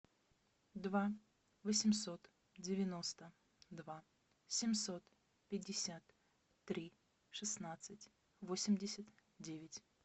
два восемьсот девяносто два семьсот пятьдесят три шестнадцать восемьдесят девять